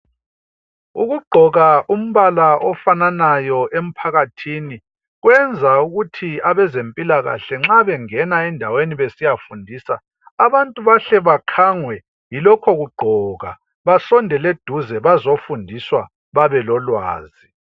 Ukugqoka umbala ofananayo emphakathini kwenza ukuthi abezempilakahle nxa bengena endaweni besiyafundisa abantu bahle bakhangwe yilokho kugqoka basondele eduze bazofundiswa babelolwazi.